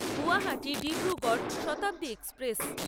Guwahati Dibrugarh Shatabdi express